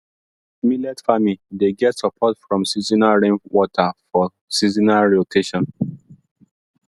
millet farming dey get support from seasonal rainwater for seasonal rotation